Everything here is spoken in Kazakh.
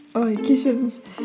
ой кешіріңіз